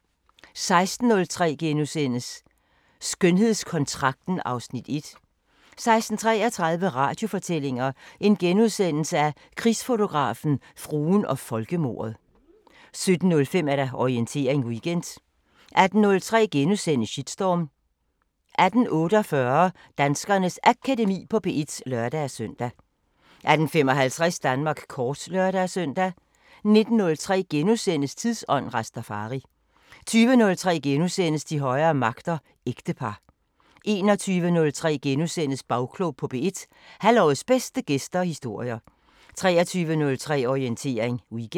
16:03: Skønhedskontrakten (Afs. 1)* 16:33: Radiofortællinger: Krigsfotografen, fruen og folkemordet * 17:05: Orientering Weekend 18:03: Shitstorm * 18:48: Danskernes Akademi på P1 (lør-søn) 18:55: Danmark kort (lør-søn) 19:03: Tidsånd: Rastafari * 20:03: De højere magter: Ægtepar * 21:03: Bagklog på P1: Halvårets bedste gæster og historier * 23:03: Orientering Weekend